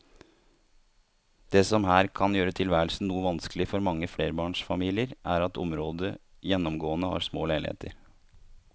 Det som her kan gjøre tilværelsen noe vanskelig for mange flerbarnsfamilier er at området gjennomgående har små leiligheter.